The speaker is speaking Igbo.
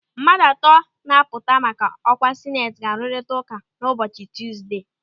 Mmadụ atọ na-apụta maka ọkwa Sineti ga-arụrita ụka ụbọchị Tuzdee.